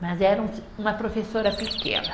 Mas era um se, uma professora pequena.